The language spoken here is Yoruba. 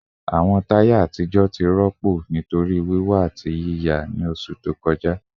Awọn taya atijọ ti rọpo nitori wiwọ ati yiya ni oṣu to kọja